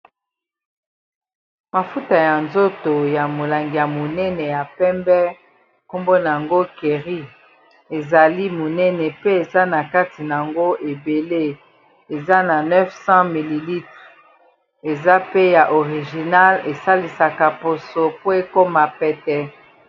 Mafuta ya nzoto, ya molangi ya monene ya pembe. Kkombo na yango kerry. Ezali monene, pe ezali na kati na yango ebele. Eza na 900 ml. Eza pe ya original esalisaka poso po ekoma pete.